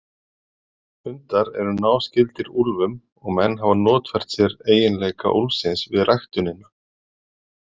Hundar eru náskyldir úlfum og menn hafa notfært sér eiginleika úlfsins við ræktunina.